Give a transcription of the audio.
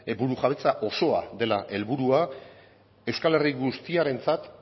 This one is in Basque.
burujabetza osoa dela helburua euskal herri guztiarentzat